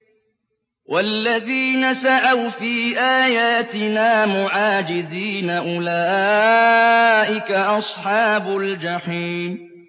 وَالَّذِينَ سَعَوْا فِي آيَاتِنَا مُعَاجِزِينَ أُولَٰئِكَ أَصْحَابُ الْجَحِيمِ